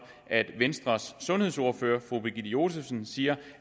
at venstres sundhedsordfører fru birgitte josefsen siger